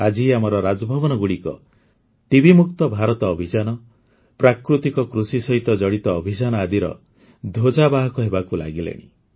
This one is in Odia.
ଆଜି ଆମର ରାଜଭବନଗୁଡ଼ିକ ଟିବିମୁକ୍ତ ଭାରତ ଅଭିଯାନ ପ୍ରାକୃତିକ କୃଷି ସହିତ ଜଡ଼ିତ ଅଭିଯାନ ଆଦିର ଧ୍ୱଜାବାହକ ହେବାକୁ ଲାଗିଲେଣି